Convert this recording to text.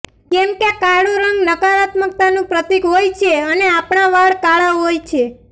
કેમ કે કાળો રંગ નકારાત્મકતાનું પ્રતિક હોય છે અને આપણા વાળ કાળા હોય છે